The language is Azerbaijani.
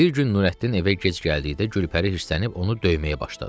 Bir gün Nurəddin evə gec gəldikdə Gülpəri hirslənib onu döyməyə başladı.